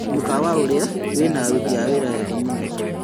Mũkawa ũrĩa wĩna aruti a wĩra ega mũno